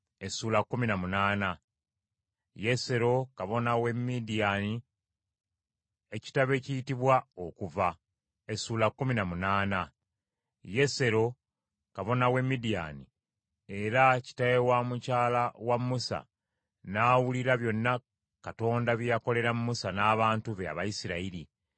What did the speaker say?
Yesero, kabona w’e Midiyaani, era kitaawe wa mukyala wa Musa, n’awulira byonna Katonda bye yakolera Musa n’abantu be, Abayisirayiri; era nga Mukama yaggya Isirayiri mu Misiri.